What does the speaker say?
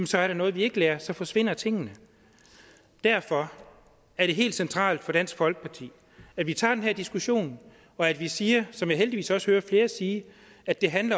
så er der noget vi ikke lærer så forsvinder tingene derfor er det helt centralt for dansk folkeparti at vi tager den her diskussion og at vi siger som jeg heldigvis også hører flere sige at det handler